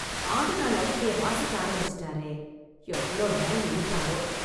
ஆண்டு நாள் அறிக்கையை வாசிக்க ஆரம்பிச்சிட்டாரே... எவ்ளோ நேரம் இழுப்பாரோ...